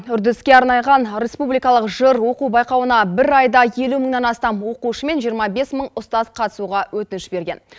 үрдіске арнайған республикалық жыр оқу байқауына бір айда елу мыңнан астам оқушы мен жиырма бес мың ұстаз қатысуға өтініш берген